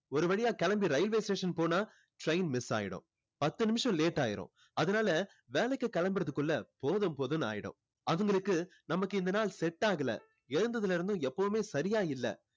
ஒரு வழியா கிளம்பி railway station போனா train miss ஆகிடும் பத்து நிமிஷம் late ஆகிரும் அதனால வேலைக்கு கிளம்புறதுக்குள்ள போதும் போதும்னு ஆகிடும் அவங்களுக்கு நமக்கு இந்த நாள் set ஆகலை எழுந்ததுல இருந்து எப்பவுமே சரியா இல்லை